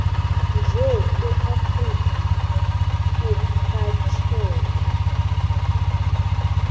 nje eafrika urhatjheke